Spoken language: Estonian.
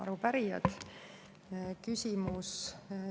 Arupärijad!